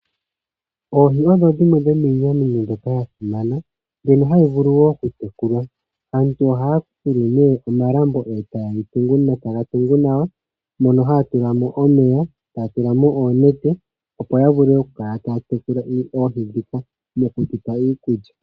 Oohi odho dhimwe dhomwiinamwenyo mbyoka ya simana mbyono hadhi vulu wo okutekulwa. Aantu ohaya fulu nee omalambo etaye ga tungu nawa mono haya tulamo omeya, etaya tulamo oonete opo ya vule okukala taya tekula oohi ndhika mokudhipa iikulya.